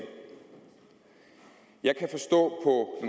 jeg kan forstå